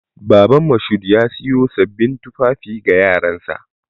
Baban Mashood ya siyo sabbin tufafi ga yaransa.